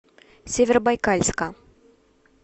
северобайкальска